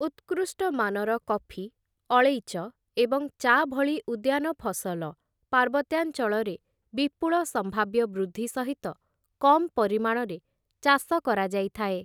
ଉତ୍କୃଷ୍ଟ ମାନର କଫି, ଅଳେଇଚ, ଏବଂ ଚା' ଭଳି ଉଦ୍ୟାନ ଫସଲ ପାର୍ବତ୍ୟାଞ୍ଚଳରେ ବିପୁଳ ସମ୍ଭାବ୍ୟ ବୃଦ୍ଧି ସହିତ କମ୍ ପରିମାଣରେ ଚାଷ କରାଯାଇଥାଏ ।